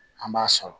An b'a sɔrɔ